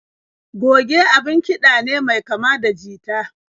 Goge abun kiɗa ne mai kama da jita.